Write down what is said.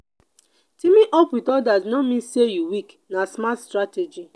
teaming up with others no mean say you weak; na smart strategy.